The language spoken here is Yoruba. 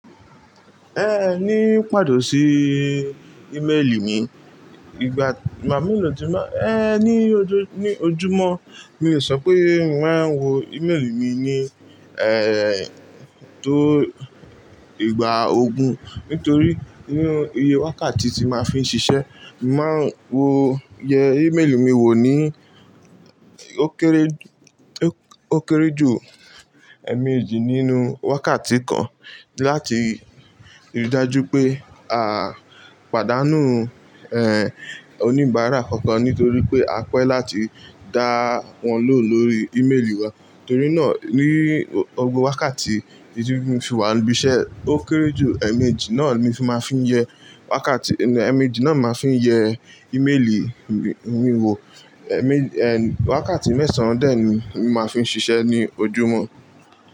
Ẹ ní pàtó sí íméèlì mi, ìgbà má mi lò ti má, ẹ ní ojú ní ojúmọ̀ mi ò sọ pé mò ń wò íméèlì mi ní, tó ìgbà ogún nítorí iye wákàtí tí màá fi ń ṣiṣẹ́. Màa ń wò iye íméèlì mi wò ní ó kéré jù ẹ́ẹ̀mẹ́jì nínú wákàtí kan láti ríi dájú pé àa pàdánù oníbàárà kankan nítorí pé à pẹ́ láti dá wọn lò lórí íméèlì wa. Torí náà ní ogún wákàtí tí mí fi wà níbí iṣẹ́ ó kéré jù ẹ́ẹ̀mẹ́jì náà ni màá fi ń yẹ wákàtí ẹ́ẹ̀mẹ́jì náà màá fi ń yẹ íméèlì mi wò. Wákàtí mẹ́sàn-án dẹ̀ ni mo má fi ń ṣiṣẹ́ ní ojúmọ̀